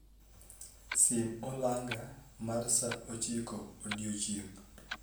Sim olanga mar sa ochiko odiechieng;